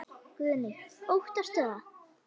Guðný: Óttastu það?